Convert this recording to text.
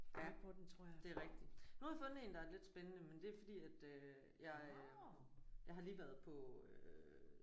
Ja det er rigtigt. Nu har jeg fundet en der er lidt spændende men det er fordi at øh jeg jeg har lige været på øh